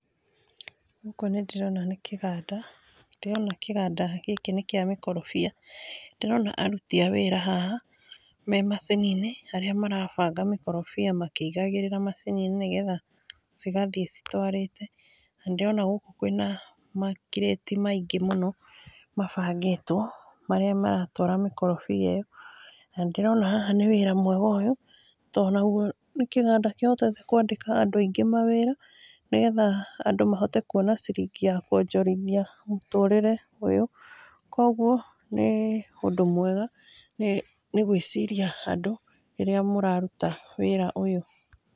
Gũkũ nĩ ndĩrona nĩ kĩganda, ndĩrona kĩganda gĩkĩ nĩkĩa mĩkorobia, ndĩrona aruti a wĩra haha, me macini-inĩ arĩa marabanga mĩkorobia, makĩigagĩrĩra macini-inĩ, nĩgetha cigathiĩ citwarĩte. Na nĩ ndĩrona gũkũ kwĩna makirĩte maingĩ mũno mabangĩtwo, marĩa maratwara mĩkorobia ĩyo, na nĩ ndĩrona ũyũ nĩ wĩra mwega ũyũ, tondũ nagwo nĩ kĩganda kĩhotete kwandĩka andũ aingĩ mawĩra, nĩgetha mahote kuona ciringi ya kwonjorithia mũtũrĩre ũyũ , kogwo nĩ ũndũ mwega nĩ gwĩciria andũ rĩrĩa mũraruta wĩra ũyũ.